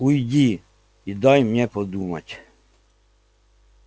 уйди и дай мне подумать